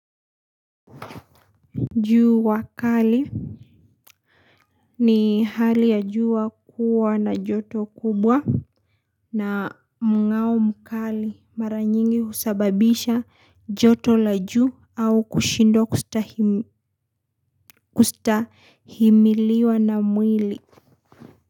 Jua kali ni hali ya jua kua na joto kubwa na mngao mkali mara nyingi usababisha joto la juu au kushindwa kustahimiliwa na mwili.